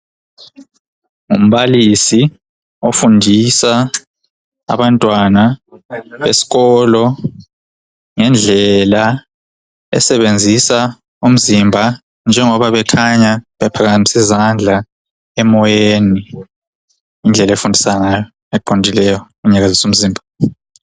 ngumbalisi ofundisa abantwana esikolo ngendlela esebenzisa umzimba njengoba bekhanya bephakamise izandla emoyeni indlela efundisa eqondileyo engenzisi umsindo